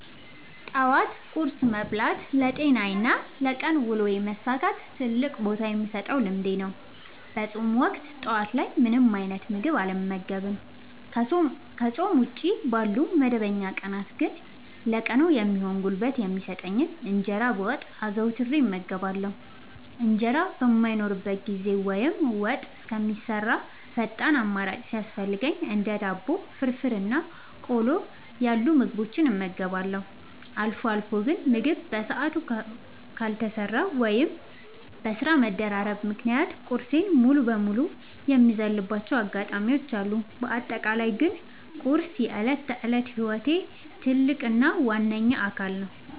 ጠዋት ቁርስ መብላት ለጤናዬና ለቀን ውሎዬ መሳካት ትልቅ ቦታ የምሰጠው ልምዴ ነው። በፆም ወቅት ጠዋት ላይ ምንም አይነት ምግብ አልመገብም። ከፆም ውጪ ባሉ መደበኛ ቀናት ግን ለቀኑ የሚሆን ጉልበት የሚሰጠኝን እንጀራ በወጥ አዘውትሬ እመገባለሁ። እንጀራ በማይኖርበት ጊዜ ወይም ወጥ እስከሚሰራ ፈጣን አማራጭ ሲያስፈልገኝ እንደ ዳቦ፣ ፍርፍር እና ቆሎ ያሉ ምግቦችን እመገባለሁ። አልፎ አልፎ ግን ምግብ በሰዓቱ ካልተሰራ ወይም በስራ መደራረብ ምክንያት ቁርሴን ሙሉ በሙሉ የምዘልባቸው አጋጣሚዎች አሉ። በአጠቃላይ ግን ቁርስ የዕለት ተዕለት ህይወቴ ትልቅ እና ዋነኛ አካል ነው።